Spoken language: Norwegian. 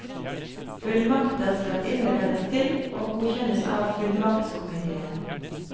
Fullmakter skal innleveres til og godkjennes av fullmaktskomiteen.